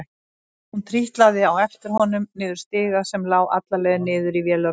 Hún trítlaði á eftir honum niður stiga sem lá alla leið niður í vélarrúmið.